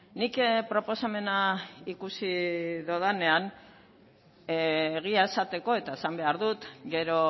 nik proposamena ikusi dudanean egia esateko eta esan behar dut gero